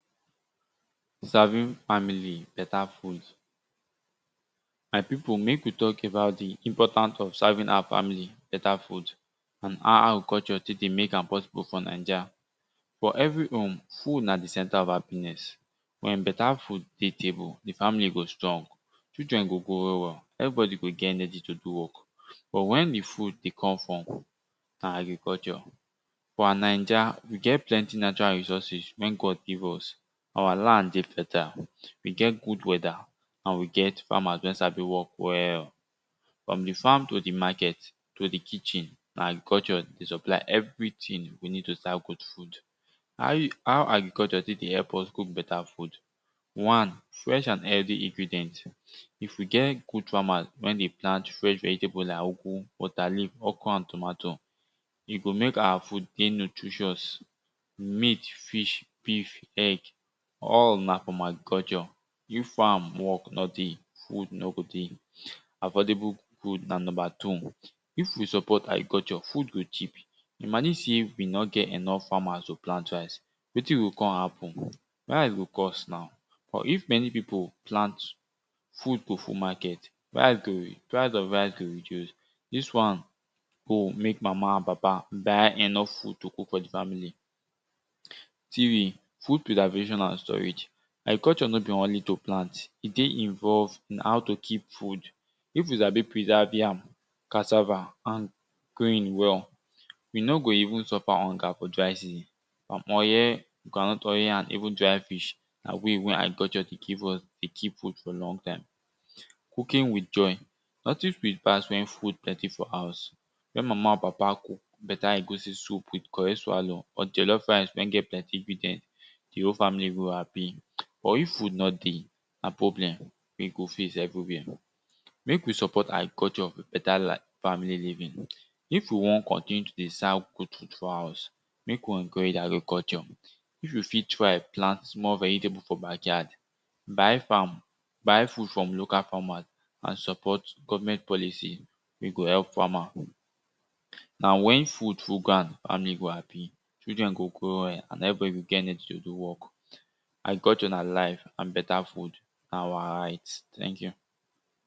Serving family beta food. My pipu mek we talk about di important of serving our family bata food and how culture tek dey mek am possible for naija. For every home food na di center of happiness wen beta food dey table, di family go strong, children go grow well well everybody go get enegy to do work. But wen di food dey come from? na agriculture. For naija we get plenty natural resources wen God give us our land dey fertile, we get good weather and we get farmers wen sabi work well. On di farm to di market to di kitchen na agriculture dey supply everything we need to serve good food. How e how agriculture tek dey help us cook beta food. One, fresh and healthy ingredient. if we get good farmer wen dey plant fresh vegetable like ugwu, water leaf, okro and tomatoes, e go mek our food dey nutritious meat, fish, beef, egg, all na from agriculture. If farm work no dey, food no go dey. Affordable food na number two. If we support agriculture, food go cheap. Imagine sey we no get enough farmers to plant rice wetin go kon happen rice go cost now but if many pipu plant food go full market price of rice go reduce. Dis wan go mek mama and papa buy enough food to cook for di family. Three, Food preservation and storage, agriculture no be only to plant, e dey involve in how to keep food. If you sabi preserve yam, cassava and grain well we no go even suffer hunger for dry season, palm oil, groundnut oil and even dry fish, na way wer agriculture dey keep food for long time. Cooking with joy, nothing sweet pass wen food plenty for house wen mama and papa cook beta egusi soup with correct swallow or jollof rice wen get plenty ingredient, di whole family go happy. But if food no dey, na problem we go face everywhere. Mek we support agriculture with beta family living. If we won continue dey serve good food for house, mek we encourage agriculture if you fit try plant small vegetable for backyard. Buy farm, buy food for local farmers and support government policy we go help farmer. Na wen food full ground family go happy children go grow well and everybody go get energy to do work. Agriculture na life and beta food na our right. thank you.